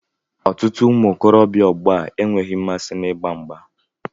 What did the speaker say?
Ọtụtụ ụmụ okorobịa ọgbọ a enweghị mmasị n'ịgba mgbà